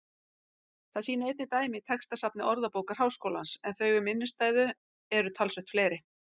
Það sýna einnig dæmi í textasafni Orðabókar Háskólans en þau um innstæðu eru talsvert fleiri.